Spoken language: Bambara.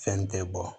Fɛn tɛ bɔ